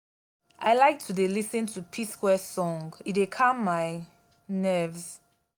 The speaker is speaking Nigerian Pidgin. i like to dey lis ten to p-square song e dey calm my nerves